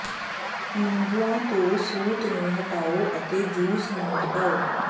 ਨਿੰਬੂਆਂ ਤੋਂ ਸੂਤ ਨੂੰ ਹਟਾਓ ਅਤੇ ਜੂਸ ਨੂੰ ਦਬਾਓ